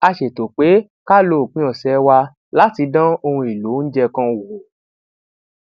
a ṣètò pé ká lo òpin òsè wa láti dán ohun èlò oúnjẹ kan wò